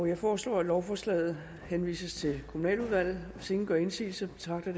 jeg foreslår at lovforslaget henvises til kommunaludvalget hvis ingen gør indsigelse betragter